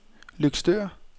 Løgstør